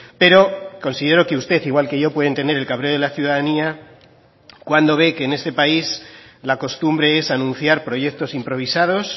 pero considero que usted igual que yo pueden tener el cabreo de la ciudadanía cuando ve que en este país la costumbre es anunciar proyectos improvisados